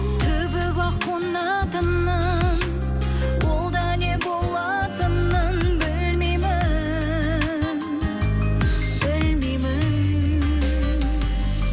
түбі бақ қонатынын ол да не болатынын білмеймін білмеймін